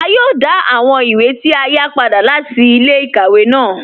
À yòò dá àwọn ìwé tí a yá padà láti ilẹ̀-ikàwẹ̀ ná